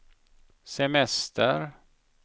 semester